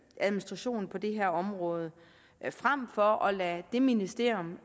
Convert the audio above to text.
administrationen på det her område frem for at lade det ministerium